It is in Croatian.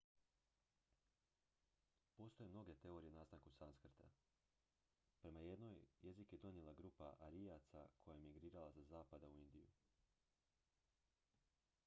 postoje mnoge teorije o nastanku sanskrta prema jednoj jezik je donijela grupa arijaca koja je migrirala sa zapada u indiju